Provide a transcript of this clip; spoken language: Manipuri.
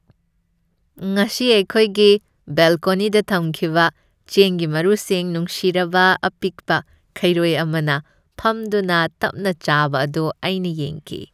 ꯉꯁꯤ ꯑꯩꯈꯣꯏꯒꯤ ꯕꯦꯜꯀꯣꯅꯤꯗ ꯊꯝꯈꯤꯕ ꯆꯦꯡꯒꯤ ꯃꯔꯨꯁꯤꯡ ꯅꯨꯡꯁꯤꯔꯕ ꯑꯄꯤꯛꯄ ꯈꯩꯔꯣꯏ ꯑꯃꯅ ꯐꯝꯗꯨꯅ ꯇꯞꯅ ꯆꯥꯕ ꯑꯗꯨ ꯑꯩꯅ ꯌꯦꯡꯈꯤ꯫